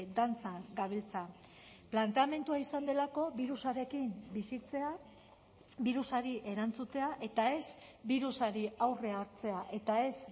dantzan gabiltza planteamendua izan delako birusarekin bizitzea birusari erantzutea eta ez birusari aurre hartzea eta ez